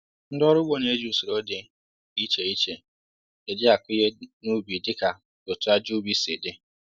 Ndị ọrụ ugbo na eji usoro dị iche iche e jì akụ ihe n'ubi díka otú aja ubi si di